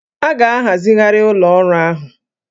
A ga-ahazigharị ụlọ ọrụ ahụ